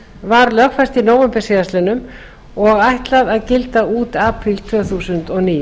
var lögfest í nóvember síðastliðnum og ætlað að gilda út apríl tvö þúsund og níu